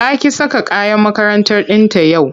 Ta ƙi saka uniform ɗinta yau.